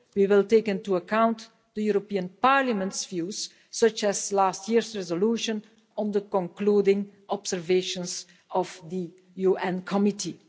We will take into account the European Parliament's views, such as last year's resolution on the concluding observations of the UN Committee.